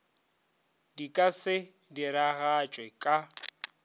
di ka se diragatšwe ka